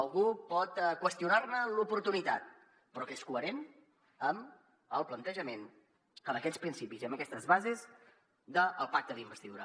algú pot qüestionar ne l’oportunitat però és coherent amb el plantejament d’aquests principis i amb aquestes bases del pacte d’investidura